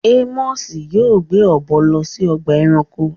Ámọsẹ yóò gbé ọ̀bọ̀ lọ sí ọ̀gbà ẹ̀ránkò